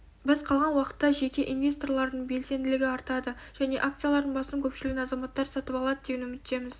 біз қалған уақытта жеке инвесторлардың белсенділігі артады және акциялардың басым көпшілігін азаматтар сатып алады деген үміттеміз